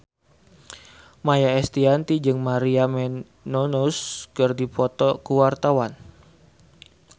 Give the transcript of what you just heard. Maia Estianty jeung Maria Menounos keur dipoto ku wartawan